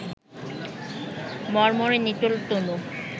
মর্মরে নিটোল তনু